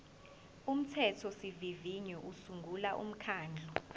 umthethosivivinyo usungula umkhandlu